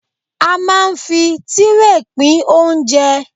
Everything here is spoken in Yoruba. A ma ń fi Tírè pín oúnjẹ.